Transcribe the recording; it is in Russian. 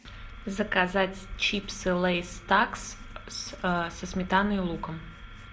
заказать чипсы лейс такс со сметаной и луком